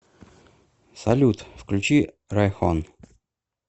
салют включи райхон